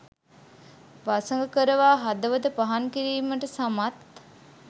වසඟ කරවා හදවත පහන් කිරීමට සමත්